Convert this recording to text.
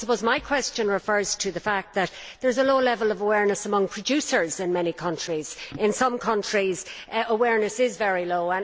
I suppose my question refers to the fact that there is a low level of awareness among producers in many countries, and in some countries it is very low.